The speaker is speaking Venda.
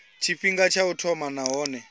tshifhinga tsha u thoma nahone